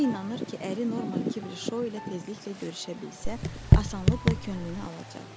O inanır ki, əri Norman Kibble Show ilə tezliklə görüşə bilsə, asanlıqla könlünü alacaq.